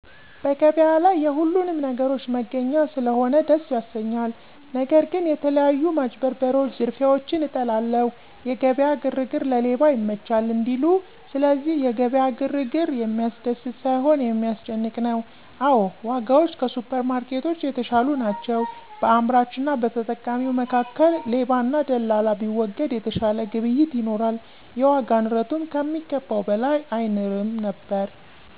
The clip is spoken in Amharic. በገበያ ላይ የሁሉንም ነገሮች መገኛ ስለሆነ ደስ ያሰኛል። ነገር ግን የተለያዩ ማጭበርበሮች ዝርፊያዎችን እጠላለሁ። የገበያ ግርግር ለሌባ ይመቻል እንዲሉ፤ ስለዚህ የገበያ ግርግር የሚያስደስት ሳይሆን የሚያስጨንቅ ነው። አዎ ዋጋዎች ከሱፐርማርኬቶች የተሻሉ ናቸው። በአምራችና በተጠቃሚው መካከል ሌባና ደላላ ቢወገድ የተሻለ ግብይት ይኖራል፤ የዋጋ ንረቱም ከሚገባው በላይ አይንርም ነበር።